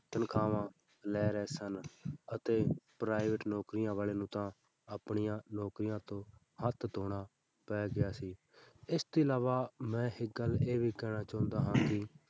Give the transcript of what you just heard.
ਤਨਖਾਹਾਂ ਲੈ ਰਹੇ ਸਨ ਅਤੇ private ਨੌਕਰੀਆਂ ਵਾਲੇ ਨੂੰ ਤਾਂ ਆਪਣੀਆਂ ਨੌਕਰੀਆਂ ਤੋਂ ਹੱਥ ਧੌਣਾ ਪੈ ਗਿਆ ਸੀ ਇਸ ਤੋਂ ਇਲਾਵਾ ਮੈਂ ਇੱਕ ਗੱਲ ਇਹ ਵੀ ਕਹਿਣਾ ਚਾਹੁੰਦਾ ਹਾਂ ਕਿ